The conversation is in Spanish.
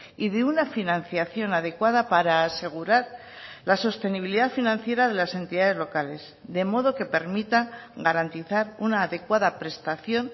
y de una financiación adecuada para asegurar la sostenibilidad financiera de las entidades locales de modo que permita garantizar una adecuada prestación